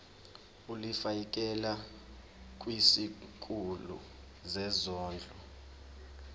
ulifiakela kwisikulu sezondlo